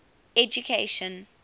education